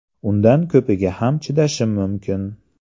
Undan ko‘piga ham chidashim mumkin.